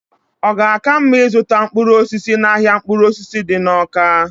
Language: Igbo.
ọ ga-aka mma ịzụta mkpụrụ osisi n'ahịa mkpụrụ osisi dị n'Awka?